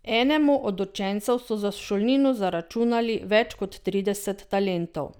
Enemu od učencev so za šolnino zaračunali več kot trideset talentov.